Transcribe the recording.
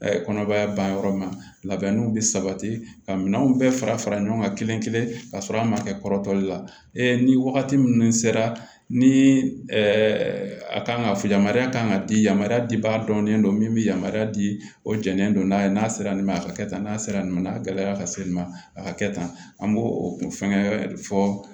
kɔnɔbara ban yɔrɔ ma labɛnniw bɛ sabati ka minɛnw bɛɛ fara fara ɲɔgɔn kan kelenkelen ka sɔrɔ an ma kɛ kɔrɔtɔli la ni wagati minnu sera ni a kan ka yamaruya kan ka di yamaya di ba dɔnnen don min bɛ yamaruya di o janden don n'a ye n'a sera nin ma a ka kɛ tan n'a sera nin ma a gɛlɛyara ka se nin ma a ka kɛ tan an b'o o kun fɛnkɛ fɔ